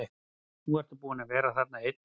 Nú ertu búinn að vera þarna einn úti.